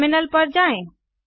terminal पर जाएँ